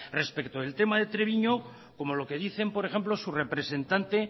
respecto al tema de treviño como lo que dicen por ejemplo su representante